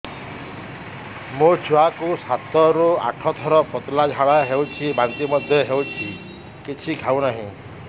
ମୋ ଛୁଆ କୁ ସାତ ରୁ ଆଠ ଥର ପତଳା ଝାଡା ହେଉଛି ବାନ୍ତି ମଧ୍ୟ୍ୟ ହେଉଛି କିଛି ଖାଉ ନାହିଁ